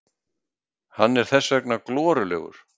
Hann er þess vegna glorulegur.